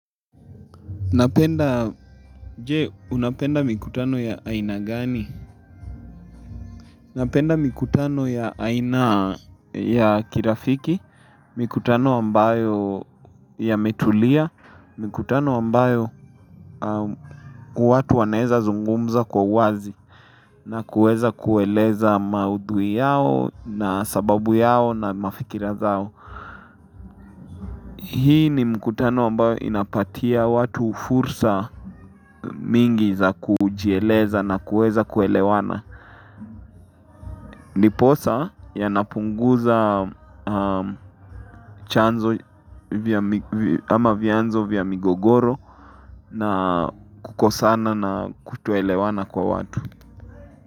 Napenda, je, unapenda mikutano ya aina gani? Napenda mikutano ya aina ya kirafiki, mikutano ambayo ya metulia, mikutano ambayo watu wanaweza zungumza kwa uwazi na kuweza kueleza maudhui yao na sababu yao na mafikirazao. Hii ni mikutano ambayo inapatia watu fursa mingi za kujieleza na kuweza kuelewana. Ndiposa yanapunguza chanzo ama vyanzo vya migogoro na kukosana na kutoelewana kwa watu.